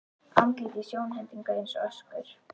Andlit í sjónhendingu eins og öskur.